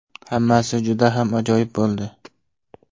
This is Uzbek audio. Hammasi juda ham ajoyib bo‘ldi!